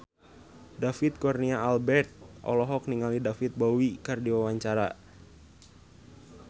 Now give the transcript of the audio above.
David Kurnia Albert olohok ningali David Bowie keur diwawancara